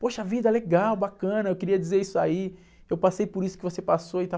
Poxa vida, legal, bacana, eu queria dizer isso aí, eu passei por isso que você passou e tal.